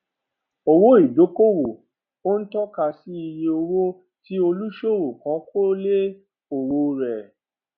owó ìdókòòwò ó ń tọka sí iye owó tí olùṣòwò kan kó lé òwò rẹ